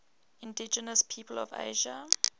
indigenous peoples of asia